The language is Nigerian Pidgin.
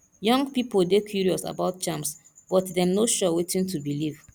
young pipo dey curious about charms but dem no sure wetin to believe